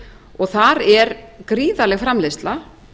og þar er gríðarleg framleiðsla